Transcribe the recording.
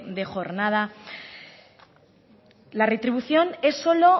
de jornada la retribución es solo